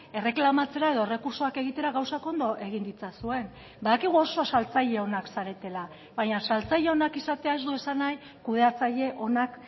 erreklamatzera edo errekurtsoak egitera gauzak ondo egin ditzazuen badakigu oso saltzaile onak zaretela baina saltzaile onak izatea ez du esan nahi kudeatzaile onak